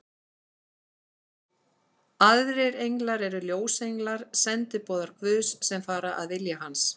Aðrir englar eru ljósenglar, sendiboðar Guðs, sem fara að vilja hans.